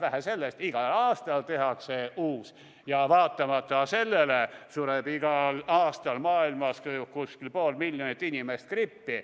Vähe sellest, igal aastal tehakse uus, ja vaatamata sellele sureb igal aastal maailmas umbes pool miljonit inimest grippi.